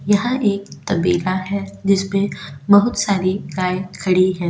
यह एक तबेला है जिस पे बहुत सारी गाय खड़ी है।